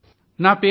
అయిదో phone call